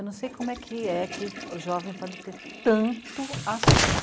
Eu não sei como é que o jovem pode ter tanto assunto.